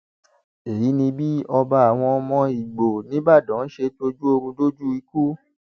èyí ni bí ọba àwọn ọmọ igbó ńìbàdàn ṣe tọjú oorun dójú ikú